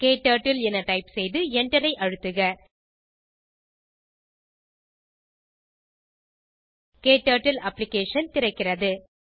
க்டர்ட்டில் என டைப் செய்து enter ஐ அழுத்துக க்டர்ட்டில் அப்ளிகேஷன் திறக்கிறது